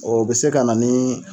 O bɛ se ka na ni